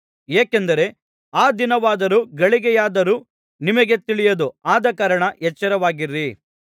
ಏಕೆಂದರೆ ಆ ದಿನವಾದರೂ ಗಳಿಗೆಯಾದರೂ ನಿಮಗೆ ತಿಳಿಯದು ಆದಕಾರಣ ಎಚ್ಚರವಾಗಿರಿ